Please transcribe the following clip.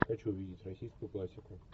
хочу увидеть российскую классику